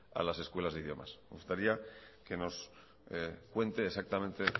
a las escuelas de idiomas me gustaría que nos cuente exactamente